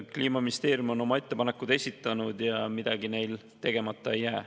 Kliimaministeerium on oma ettepanekud esitanud ja midagi neil tegemata ei jää.